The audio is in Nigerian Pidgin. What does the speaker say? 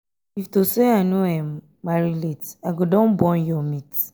if to say i no um marry late i go don um born your um mate